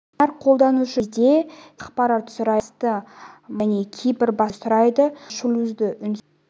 әр қолданушы жүктелген кезде серверден ақпарат сұрайды жүйе асты маскасын және кейбір басқа деректерді сұрайды соңғыларға шлюздің үнсіз